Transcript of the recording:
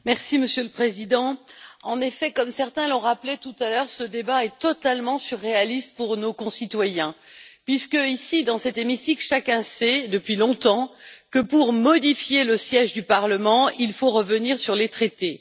Monsieur le Président, en effet, comme certains l'ont rappelé tout à l'heure, ce débat est totalement surréaliste pour nos concitoyens, puisqu'ici, dans cet hémicycle, chacun sait depuis longtemps que, pour modifier le siège du Parlement, il faut revenir sur les traités.